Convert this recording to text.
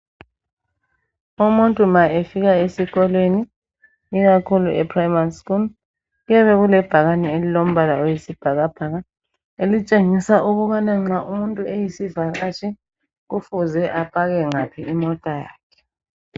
umuntu ma efika esikolweni ikakhulu e primary school kuyabe kulebhakani elilombala oyisibhakabhaka elitshengisa ukubana nxa umuntu eyisivakatshi kufuze apake ngaphi imota yakhe